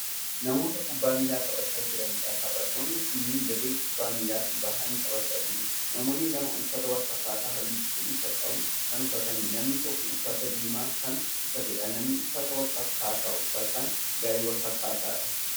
Namoota kubbaa miilaa taphachaa jiraniidha. taphattoonni kunniin dirree kubbaa miilaatti bahanii taphachaa jiru. namoonni lama uffata walfakkaatu halluu cuquliisa qabu Kan uffataniifi namni tokko uffata diimaa Kan uffateedha. namoonni uffata walfakkaataa uffatan garee walfakkaataadha.